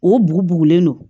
O bugu bugulen don